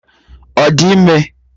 Ọ di ime?